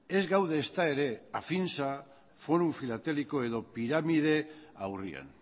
ez gaude ezta ere afinsa fórum filatélico edo piramide aurrean